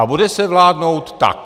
A bude se vládnout tak.